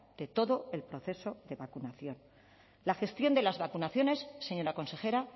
de todo el proceso de vacunación la gestión de las vacunaciones señora consejera